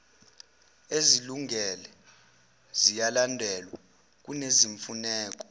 ezilungile ziyalandelwa kunezimfuneko